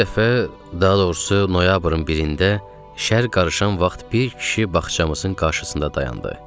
Bir dəfə, daha doğrusu, noyabrın birində şəhər qarışan vaxt bir kişi bağçamızın qarşısında dayandı.